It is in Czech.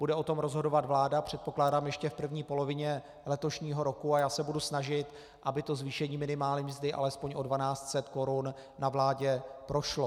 Bude o tom rozhodovat vláda, předpokládám, ještě v první polovině letošního roku a já se budu snažit, aby zvýšení minimální mzdy alespoň o 1 200 korun na vládě prošlo.